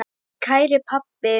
Kæri pabbi.